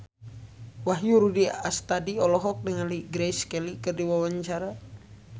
Wahyu Rudi Astadi olohok ningali Grace Kelly keur diwawancara